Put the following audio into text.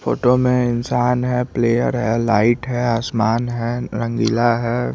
Photo में इंशान है प्लेयर है लाइट है आसमान है रंगीला है।